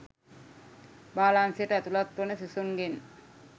බාලාංශයට ඇතුළත් වන සිසුන්ගෙන්